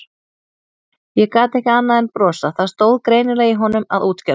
Ég gat ekki annað en brosað, það stóð greinilega í honum að útskýra þetta.